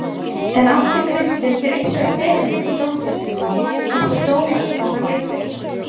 En átti Kristinn sér einhverja fyrirmynd í dómgæslunni, einhver dómari sem hann leit upp til?